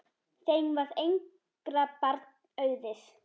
Þeim varð engra barna auðið.